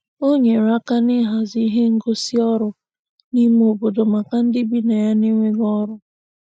O nyere aka n'ịhazi ihe ngosị ọrụ n'ime obodo maka ndị bi na ya n'enweghị ọrụ.